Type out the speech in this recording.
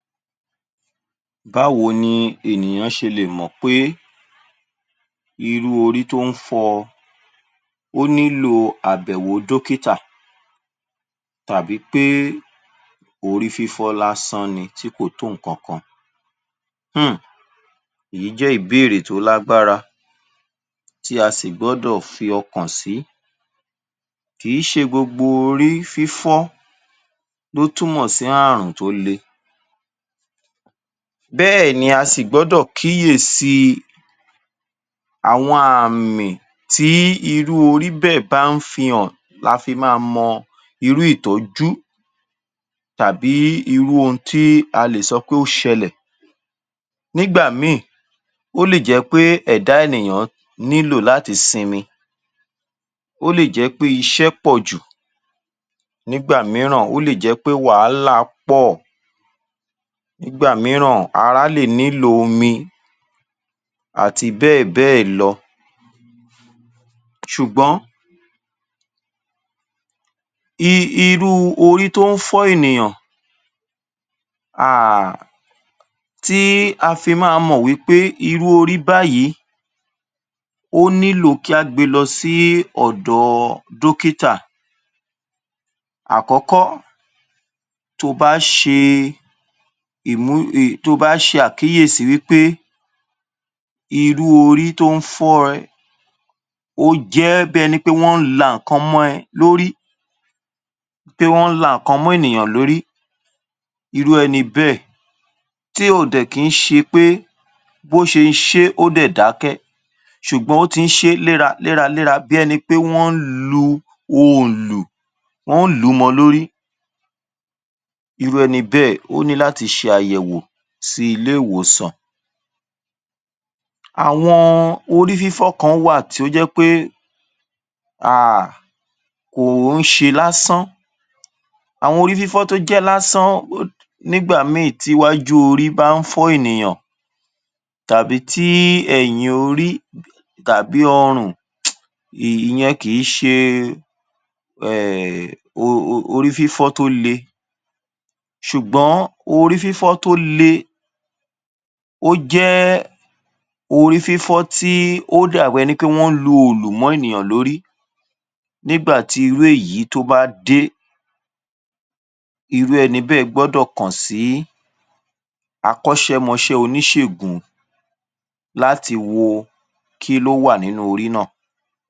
Báwo ni ènìyàn ṣe lè mọ pé irú orí tó n fọ oní lo àbẹ̀wò dókítà tàbí pé orí fifọ lasán ni tí kò tún nǹkan kan? Hm. Ìyí jẹ ibéèrè tó lágbára tí a sì gbọdọ̀ fi ọkàn sí. Kì í ṣe gbogbo orí fífọ ló túmọ sí ààrùn tó lé. Bẹ́ẹ̀ ni a si gbọdọ kíyèsí àwọn ààmì tí irú orí bẹẹ̀ bá n fi hàn láfi máa mọ irú ìtọ́jú tàbí irú ohun tí a lè sọ pé o ṣẹlẹ. Nígbà míì ó lè jẹ́ pé ẹ̀dá ènìyàn nílò láti sinmi, ó le jẹ́ pé iṣẹ pọ̀jù. Nígbà mìíràn ó le jẹ́ pé wa n la pọ̀. Nígba mìíràn ara le nílò omi àti bẹ́ẹ̀bẹ́ẹ̀ lọ. Ṣùgbọ́n irú orí tó n fọ ènìyàn à tí a fi máa mọ wípé irú orí báyìí o nílò kí a gbé lọ sí ọ̀dọ̀ dókítà. Àkọ́kọ́, tó bá ṣe ìmu-- tó bá ṣe àkíyèsí wípe irú orí tó n fọ rẹ o jẹ ẹbí ẹni pé wọn n la nkan mọ́ ẹ lórí, pé wọn n la nkan mọ́ ènìyàn lórí. Iru ẹnibẹ̀ tí ò dẹ̀ kí n ṣe pé bó ṣe n ṣe o dẹ̀ dákẹ́, ṣùgbọ́n o ti n ṣe lera lera lera bí ẹni pẹ wọn lu olù, wọn lu mọ lórí. Iru ẹnibẹ̀ ó ní láti ṣe àyẹ̀wò sí ilé ìwòsàn. Àwọn orí fífọ kán wà tí ó jẹ́ pé, à, kò n ṣe lásán. Àwọn orí fífọ tó jẹ́ lásán nígbà míì tiwájú orí bá n fọ ènìyàn tàbí tí ẹ̀yìn orí tàbí ọrùn ìyẹn kì í ṣe, ẹ̀, orí fífọ tó lé. Ṣùgbọ́n orí fífọ tó lé o jẹ́ orí fífọ tí ó dàgbẹ́ ni wọn lu olùmọ ènìyàn lórí. Nígbà tí irú èyí tó bá dé, irú ẹnibẹ̀ gbọdọ kan sí akọṣẹmọṣẹ oníṣègún láti wo kí lowà nínú orí náà.